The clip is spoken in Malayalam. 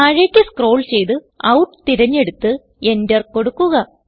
താഴേക്ക് സ്ക്രോൾ ചെയ്ത് ഔട്ട് തിരഞ്ഞെടുത്ത് Enter കൊടുക്കുക